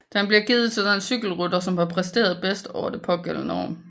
Den bliver givet til den cykelrytter som har præsteret bedst over det pågældende år